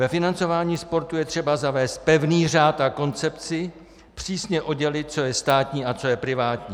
Ve financování sportu je třeba zavést pevný řád a koncepci, přísně oddělit, co je státní a co je privátní.